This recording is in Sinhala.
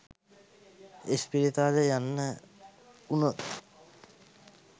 ඉස්පිරිතාලේ යන්න වුණොත්